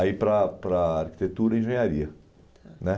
Aí para para arquitetura e engenharia, tá, né?